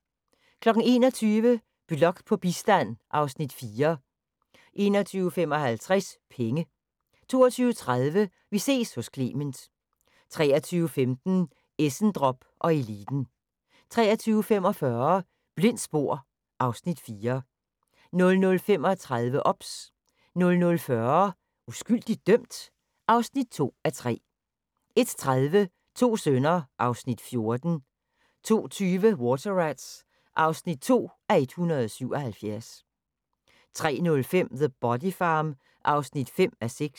21:00: Blok på bistand (Afs. 4) 21:55: Penge 22:30: Vi ses hos Clement 23:15: Essendrop & Eliten 23:45: Blindt spor (Afs. 4) 00:35: OBS 00:40: Uskyldigt dømt? (2:3) 01:30: To sønner (Afs. 14) 02:20: Water Rats (2:177) 03:05: The Body Farm (5:6)